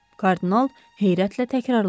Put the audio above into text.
Kardinal heyrətlə təkrarladı.